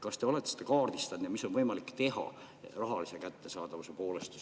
Kas te olete kaardistanud, mida oleks võimalik teha, et ravimid oleksid rahaliselt kättesaadavad?